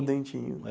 O Dentinho.